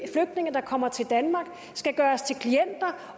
flygtninge der kommer til danmark skal gøres til klienter